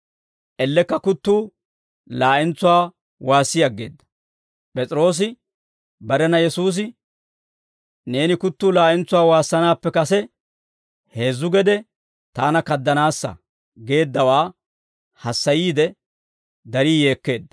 Ellekka kuttuu laa'entsuwaa waassi aggeedda; P'es'iroosi barena Yesuusi, «Neeni kuttuu laa'entsuwaa waassanaappe kase heezzu gede taana kaddanaassa» geeddawaa hassayiide, darii yeekkeedda.